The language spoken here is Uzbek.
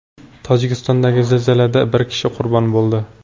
Tojikistondagi zilzilada bir kishi qurbon bo‘ldi.